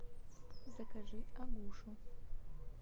закажи агушу